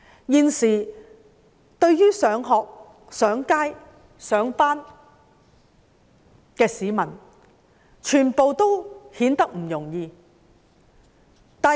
現時市民要出外上班、上學，都並不容易。